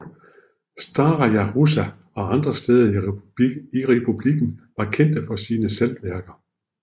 Staraja Russa og andre steder i republikken var kendte for sine saltværker